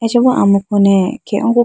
acha ma amuku ne khege oko.